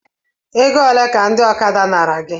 Egole ka ndị ọkada nara gị?